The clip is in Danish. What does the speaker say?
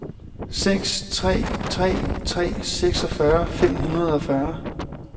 seks tre tre tre seksogfyrre fem hundrede og fyrre